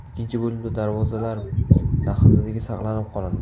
Ikkinchi bo‘limda darvozalar daxlsizligi saqlanib qolindi.